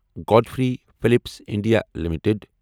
Godfrey Phillips India limited